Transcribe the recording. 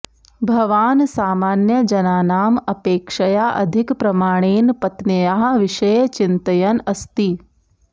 भवान् सामान्यजनानाम् अपेक्षया अधिकप्रमाणेन पत्न्याः विषये चिन्तयन् अस्ति